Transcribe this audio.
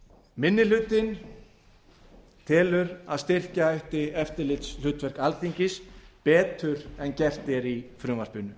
einni hlutinn telur að styrkja ætti eftirlitshlutverk alþingis betur en gert er í frumvarpinu